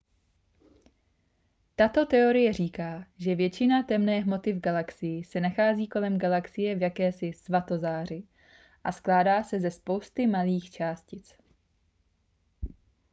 tato teorie říká že většina temné hmoty v galaxii se nachází kolem galaxie v jakési svatozáři a skládá se ze spousty malých částic